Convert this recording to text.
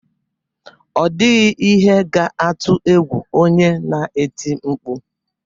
Ọ dịghị ihe ga-atụ egwu onye na-eti mkpu